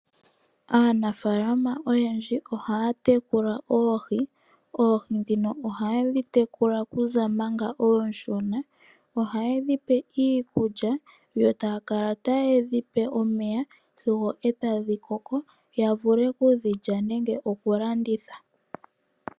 Aanafaalama oyendji ohaa tekula oohi. Oohi ndhino oha yedhi tekula okuza manga oonshona. Ohaye dhi pe iikulya yo taya kala taye dhi pe omeya sigo etadhi koko ya vule okudhilya nenge okulanditha.